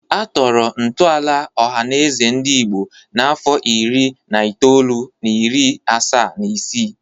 Atọrọ ntọala Ọhanaeze Ndigbo n'afọ iri na itoolu na iri asaa na isii.